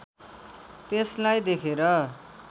त्यसलाई देखेर